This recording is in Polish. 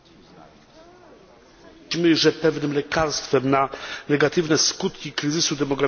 Mówimy, że pewnym lekarstwem na negatywne skutki kryzysu demograficznego może być migracja.